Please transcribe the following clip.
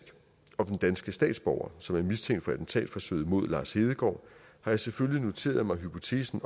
om den danske statsborger som er mistænkt for attentatforsøget mod lars hedegaard har jeg selvfølgelig noteret mig hypotesen